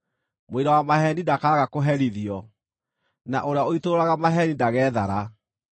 Mũira wa maheeni ndakaaga kũherithio, na ũrĩa ũitũrũraga maheeni ndageethara.